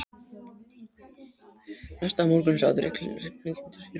Næsta morgun sat Ragnhildur í rútunni.